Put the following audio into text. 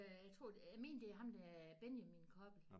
Øh jeg tror jeg mener det er ham der Benjamin Koppel